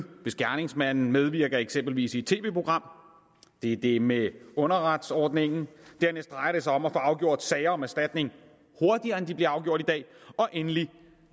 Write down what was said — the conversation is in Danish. hvis gerningsmanden medvirker eksempelvis i et tv program det er det med underretningsordningen dernæst drejer det sig om at få afgjort sager om erstatning hurtigere end de bliver afgjort i dag og endelig